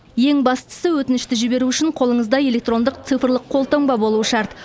ең бастысы өтінішті жіберу үшін қолыңызда электрондық цифрлық қолтаңба болуы шарт